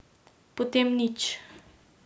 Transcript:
Potem nič.